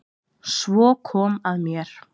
Svo kom að mér.